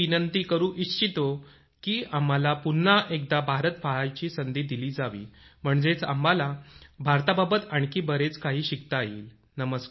मी विनंती करू इच्छितो की आम्हाला पुन्हा एकदा भारत पाहायची संधी दिली जावी म्हणजे आम्हाला भारताबाबत आणखी बरेच काही शिकता येईल